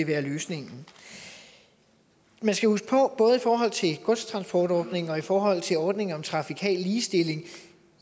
være løsningen man skal huske på at det både i forhold til godstransportordningen og i forhold til ordningen om trafikal ligestilling